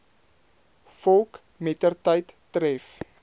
volk mettertyd tref